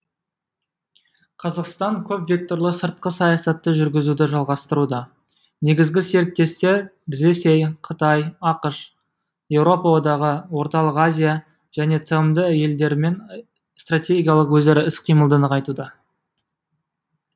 қазақстан көпвекторлы сыртқы саясатты жүргізуді жалғастыруда негізгі серіктестер ресей қытай ақш еуропа одағы орталық азия және тмд елдерімен стратегиялық өзара іс қимылды нығайтуда